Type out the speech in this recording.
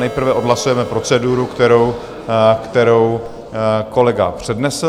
Nejprve odhlasujeme proceduru, kterou kolega přednesl.